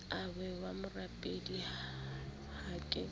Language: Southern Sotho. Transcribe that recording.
ahwa wa morapedi ha ke